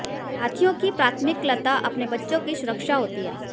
हाथियों की प्राथमिकलता अपने बच्चों की सुरक्षा होती है